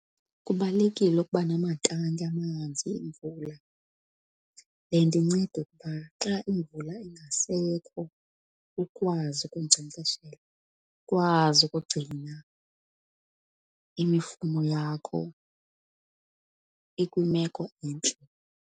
Kubalulekile ukuba namatanki amanzi emvula. Le nto inceda ukuba xa imvula ingasekho ukwazi ukunkcenkceshela, kwazi ukugcina imifuno yakho ikwimeko entle.